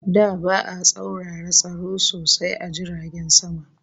Da ba'a tsaurara tsaro sosai a jiragen sama